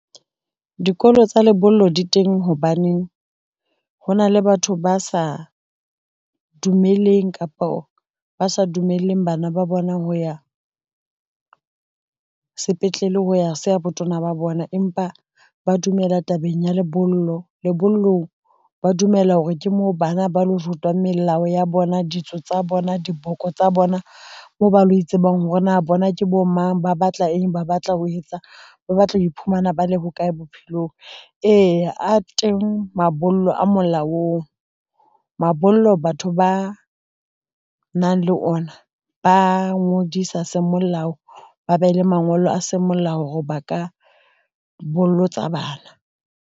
Dikolo tsa lebollo di teng hobaneng, hona le batho ba sa dumeleng kapo ba sa dumelleng bana ba bona ho ya, sepetlele ho ya se a botona ba bona, empa ba dumela tabeng ya lebollo. Lebollong ba dumela hore ke moo bana ba lo rutwang melao ya bona ditso tsa bona diboko tsa bona moo ba lo e tsebang hore na bona ke bo mang. Ba batla eng. Ba batla ho etsa, ba batla ho iphumana ba le ho kae bophelong eya a teng mabollo a molaong. Mabollo batho ba nang le ona ba ngodisa semolao, ba be le mangolo a semolao hore ba ka bolotsa bana.